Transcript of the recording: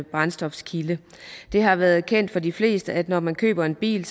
brændstofkilde det har været kendt for de fleste at når man køber en bil